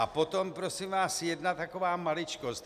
A potom prosím vás jedna taková maličkost.